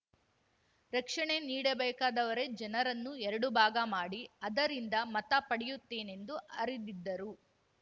ರಕ್ಷಣೆ ನೀಡಬೇಕಾದವರೇ ಜನರನ್ನು ಎರಡು ಭಾಗ ಮಾಡಿ ಅದರಿಂದ ಮತ ಪಡೆಯುತ್ತೇನೆಂದು ಅರೆದಿದ್ದರು